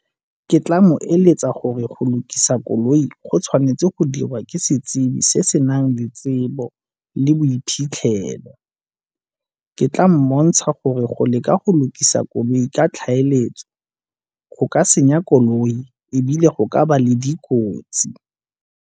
Ke tla mo eletsa gore go lukisa koloi go tshwanetse go dirwa ke setsibi se se nang le tsebo le boiphitlhelo. Ke tla mmontsha gore go leka go lukisa koloi ka tlhaeletsano go ka senya koloi ebile go ka ba le dikotsi.